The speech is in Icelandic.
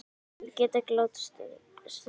Ég get ekki látið stuðning þeirra verða til einskis.